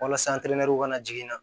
Walasa ka na jigin